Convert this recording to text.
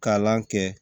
Kalan kɛ